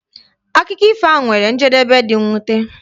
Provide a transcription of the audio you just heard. Akụkọ ifo ahu nwere njedebe dị mwute.